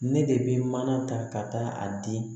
Ne de bɛ mana ta ka taa a di